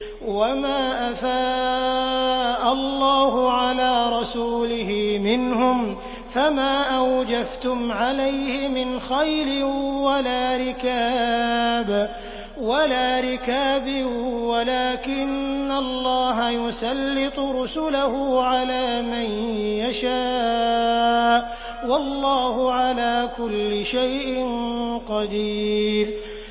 وَمَا أَفَاءَ اللَّهُ عَلَىٰ رَسُولِهِ مِنْهُمْ فَمَا أَوْجَفْتُمْ عَلَيْهِ مِنْ خَيْلٍ وَلَا رِكَابٍ وَلَٰكِنَّ اللَّهَ يُسَلِّطُ رُسُلَهُ عَلَىٰ مَن يَشَاءُ ۚ وَاللَّهُ عَلَىٰ كُلِّ شَيْءٍ قَدِيرٌ